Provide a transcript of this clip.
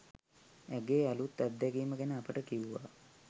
ඇගේ අලුත් අත්දැකීම ගැන අපට කිව්වා.